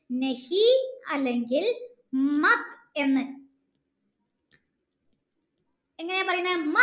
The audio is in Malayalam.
അല്ലെങ്കിൽ എന്ന് ചേർക്കുന്നു എങ്ങനെ പറയണേ